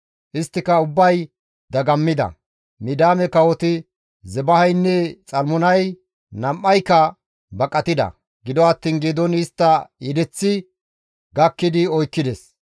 Isttika ubbay dagammida; Midiyaame kawoti Zebahaynne Xalmunay nam7ayka baqatida; gido attiin Geedooni istta yedeththi gakkidi oykkides.